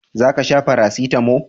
za ka sha farasitamo?